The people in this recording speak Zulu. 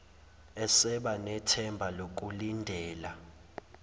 eseba nethemba lokulindela